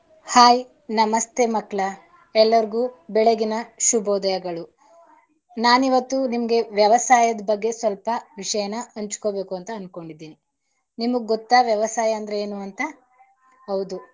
Hai ನಮಸ್ತೆ ಮಕ್ಕಳಾ ಎಲ್ಲಾರಗು ಬೆಳಗಿನ ಶಭೋದಯಗಳು. ನಾನ್ ಇವತ್ತು ನಿಮ್ಗೆ ವ್ಯವಸಾಯದ ಬಗ್ಗೆ ಸ್ವಲ್ಪ ವಿಷಯನ ಹಂಚಕೋಬೇಕು ಅಂತ ಅನ್ಕೊಂಡಿದೀನಿ. ನಿಮ್ಗ್ ಗೊತ್ತಾ ವ್ಯವಸಾಯ ಅಂದ್ರೆ ಏನೂ ಅಂತ ಹೌದು.